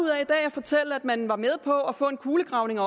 fortælle at man var med på at få en kulegravning